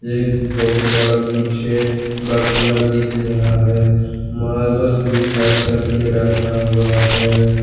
एक बहुत बड़ा पीछे बंगला दिख रहा है मार्बल भी खड़ा करके रखा हुआ है।